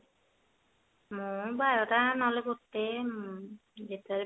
ମୁଁ ବାରଟା ନହେଲେ ଗୋଟେ